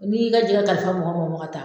N'i y'i ka jɛkɛ kalifa mɔgɔ mɔgɔ ma ka taa